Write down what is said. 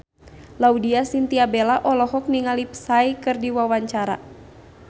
Laudya Chintya Bella olohok ningali Psy keur diwawancara